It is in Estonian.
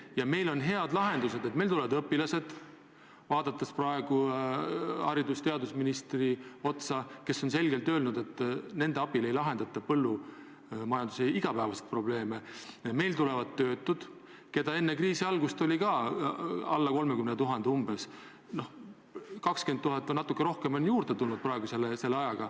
Ja meil on head lahendused, meil tulevad õpilased appi – vaatan praegu haridus- ja teadusministri otsa, kes on selgelt öelnud, et nende abil ei lahendata põllumajanduse igapäevaseid probleeme –, meil tulevad maale tööle töötud, keda enne kriisi algust oli veidi alla 30 000 ja keda umbes 20 000 ja natuke rohkem on selle ajaga juurde tulnud.